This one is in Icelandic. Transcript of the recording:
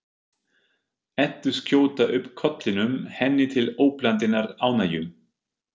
Eddu skjóta upp kollinum, henni til óblandinnar ánægju.